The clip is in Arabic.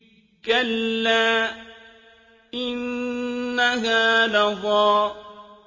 كَلَّا ۖ إِنَّهَا لَظَىٰ